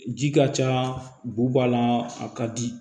Ji ka ca bu b'a la a ka di